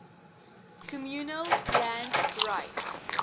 communal land rights